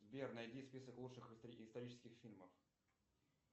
сбер найди список лучших исторических фильмов